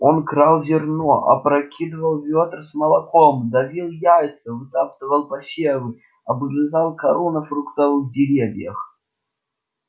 он крал зерно опрокидывал ведра с молоком давил яйца вытаптывал посевы обгрызал кору на фруктовых деревьях